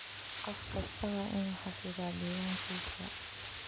Qof kastaa waa inuu xafidaa diiwaankiisa.